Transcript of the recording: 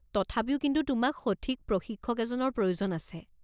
তথাপিও কিন্তু তোমাক সঠিক প্ৰশিক্ষক এজনৰ প্ৰয়োজন আছে।